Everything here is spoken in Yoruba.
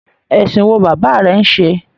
Ẹsìn wo bàbá rẹ n ṣe?